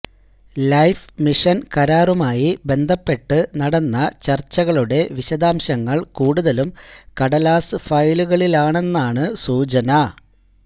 life mission കരാറുമായി ബന്ധപ്പെട്ട് നടന്ന ചര്ച്ചകളുടെ വിശദാംശങ്ങള് കൂടുതലും കടലാസ് ഫയലുകളിലാണെന്നാണ് സൂചന